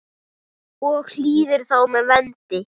og hýðir þá með vendi.